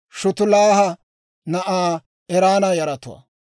Shutelaaha na'aa Erana yaratuwaa.